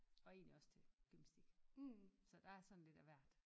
Og egentlig også til gymnastik så der er sådan lidt af hvert